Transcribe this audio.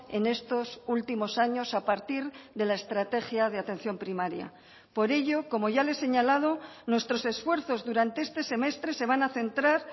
en estos últimos años a partir de la estrategia de atención primaria por ello como ya le he señalado nuestros esfuerzos durante este semestre se van a centrar